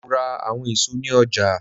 Mo ra awọn èso ni ọja.